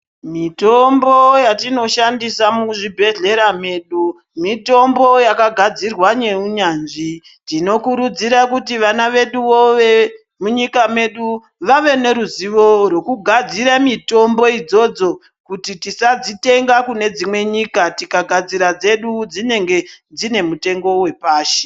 Mitombo yatinoshandisa muzvibhehlera medu mitombo yakagadzirwa neunyanzvi tinokurudzira kuti vana vedu vemunyika medu vave neruzivo wekugadzira mitombo idzodzo kuti tisadzitenga kune dzimwe nyika tikagadzira dzedu dzinenge dzine mutengo wepashi.